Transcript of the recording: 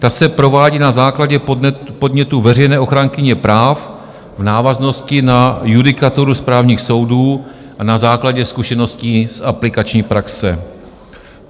Ta se provádí na základě podnětu veřejné ochránkyně práv v návaznosti na judikaturu správních soudů a na základě zkušeností z aplikační praxe.